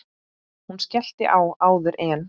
Hún skellti á áður en